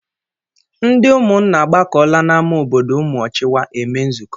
Ndị ụmụnna agbakọla n'ámá obodo Umuochiwa eme nzukọ.